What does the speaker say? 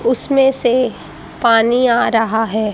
उसमें से पानी आ रहा है।